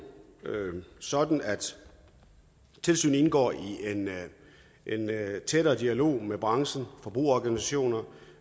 sådan at tilsynet indgår i en tættere dialog med branchen forbrugerorganisationer